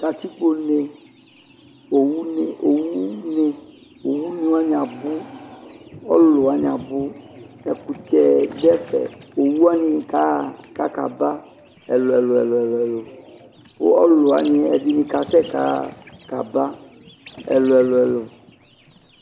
Katikpone, owune Owune wane abu, Ɔlulu wane abu Ɛkutɛ do ɛfɛ Owu wane kaha kaka ba ɛluɛluɛlu, ko ɔlulu wane ɛdene kasɛ kaha kaba ɛluɛluɛluɛlu